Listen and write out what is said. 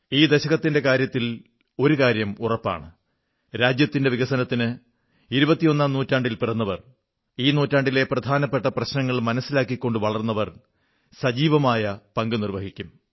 ഈ ദശകത്തിന്റെ കാര്യത്തിൽ ഒരു കാര്യം ഉറപ്പാണ് രാജ്യത്തിന്റെ വികസനത്തിന് 21ാം നൂറ്റാണ്ടിൽ പിറന്നവർ ഈ നൂറ്റാണ്ടിലെ പ്രധാനപ്പെട്ട പ്രശ്നങ്ങൾ മനസ്സിലാക്കിക്കൊണ്ടു വളർന്നവർ സജീവമായ പങ്കു നിർവ്വഹിക്കും